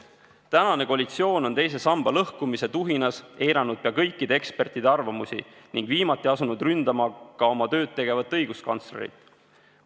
Tänane koalitsioon on teise samba lõhkumise tuhinas eiranud pea kõikide ekspertide arvamusi ning viimati asunud ründama ka oma tööd tegevat õiguskantslerit.